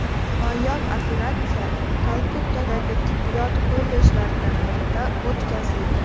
Noyob operatsiya Kalkuttadagi tibbiyot kollejlaridan birida o‘tkazildi.